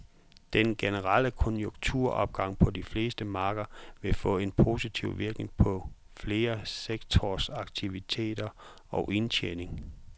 Den generelle konjunkturopgang på de fleste markeder vil få en positiv virkning på flere sektorers aktiviteter og indtjening.